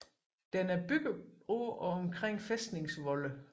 Den er bygget på og omkring fæstningsvolde